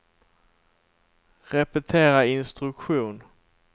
repetera instruktion